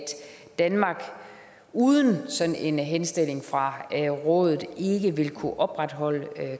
danmark uden sådan en henstilling fra rådet ikke vil kunne opretholde